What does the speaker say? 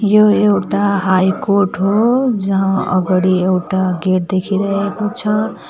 यो एउटा high court हो जहाँ अगाडि एउटा गेट देखिरहेको छ।